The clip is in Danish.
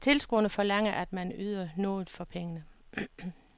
Tilskuerne forlanger, at man yder noget for pengene.